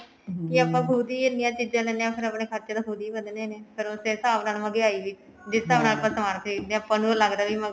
ਕੀ ਆਪਾਂ ਖੁੱਦ ਹੀ ਇੰਨੀਆ ਚੀਜਾਂ ਲੇਂਦੇ ਹਾਂ ਫ਼ੇਰ ਆਪਣੇ ਖਰਚੇ ਤਾਂ ਖੁੱਦ ਹੀ ਵਧਣੇ ਨੇ ਫ਼ੇਰ ਉਸੇ ਹਿਸਾਬ ਨਾਲ ਮਹਿੰਗਿਆਈ ਵੀ ਜਿਸ ਹਿਸਾਬ ਨਾਲ ਆਪਾਂ ਸਮਾਨ ਖਰੀਦਦੇ ਹਾਂ ਆਪਾਂ ਨੂੰ ਇਹ ਲੱਗਦਾ ਵੀ